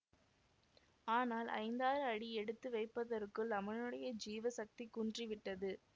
ஆனால் ஐந்தாறு அடி எடுத்து வைப்பதற்குள் அவனுடைய ஜீவசக்தி குன்றிவிட்டது